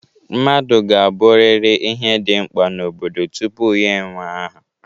Mmadụ ga-abụrịrị ihe dị mkpa n'obodo tupu ya ewee aha